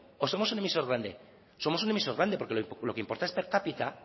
o somos un emisor grande somos un emisor grande porque lo que importa es per cápita